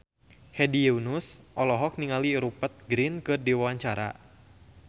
Hedi Yunus olohok ningali Rupert Grin keur diwawancara